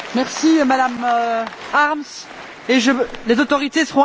Les autorités seront informées de votre indignation sur cette affaire.